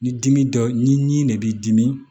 Ni dimi dɔ ni nin de b'i dimi